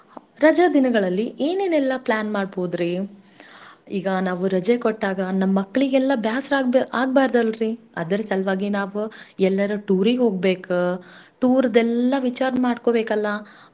ರಜ ದಿನಗಳಲ್ಲಿ ಏನೇನೆಲ್ಲಾ plan ಮಾಡ್ಬೋದ್ರೀ. ಈಗ ನಾವು ರಜೆ ಕೊಟ್ಟಾಗ ನಮ್ ಮಕ್ಳಿಗೆಲ್ಲಾ ಬ್ಯಾಸರಾಗ್ಬ~ ಆಗ್ಬಾರ್ದಲ್ರಿ. ಅದರ್ ಸಲ್ವಾಗಿ ನಾವ್ ಎಲ್ಲರು tour ಗ್ ಹೋಗ್ಬೇಕ, tour ದೆಲ್ಲಾ ವಿಚಾರ್ ಮಾಡ್ಕೋಬೇಕಲ್ಲಾ